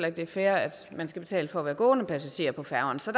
at det er fair at man skal betale for at være gående passager på færgerne så